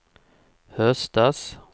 höstas